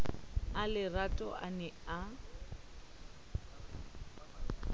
a lerato a ne a